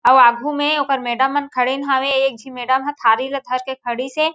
अउ आगू में ओकर मैडम मन खड़ेन हावेएक झी मैडम ह थारी ला धर के खड़ी से।